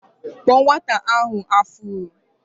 Kpuo nwata ahụ afuro!